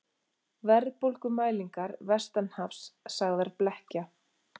Verðbólgumælingar vestanhafs sagðar blekkja